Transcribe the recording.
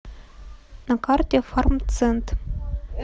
на карте фармцент